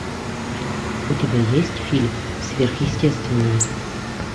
у тебя есть фильм сверхъестественное